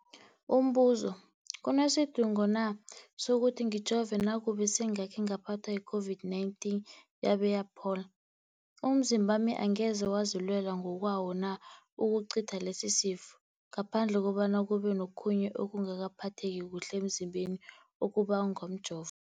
Umbuzo, kunesidingo na sokuthi ngijove nakube sengakhe ngaphathwa yi-COVID-19 yabe yaphola? Umzimbami angeze wazilwela ngokwawo na ukucitha lesisifo, ngaphandle kobana kube nokhunye ukungaphatheki kuhle emzimbeni okubangwa mjovo?